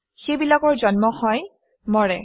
সেইবিলাকৰ জন্ম হয় মৰে